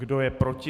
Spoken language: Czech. Kdo je proti?